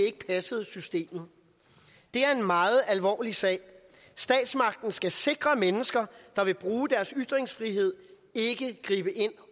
ikke passede systemet det er en meget alvorlig sag statsmagten skal sikre mennesker der vil bruge deres ytringsfrihed ikke gribe ind